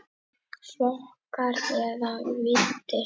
Flokkar eða víddir